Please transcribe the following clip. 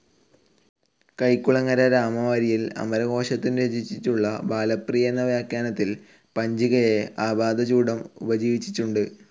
കൈക്കുളങ്ങര രാമവാരിയർ അമരകോശത്തിനു രചിച്ചിട്ടുള്ള ബാലപ്രിയ എന്ന വ്യാഖ്യാനത്തിൽ പഞ്ചികയെ ആപാദചൂഡം ഉപജീവിച്ചിട്ടുണ്ടു്.